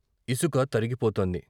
ఇసుక తరగిపోతోంది.